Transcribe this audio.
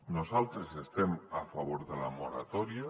nosaltres estem a favor de la moratòria